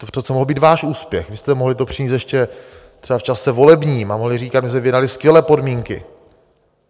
To přece mohl být váš úspěch, vy jste mohli to přinést ještě třeba v čase volebním a mohli říkat: my jsme vyjednali skvělé podmínky.